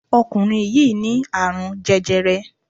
Ọkùnrin yìí ní àrún jẹjẹrẹ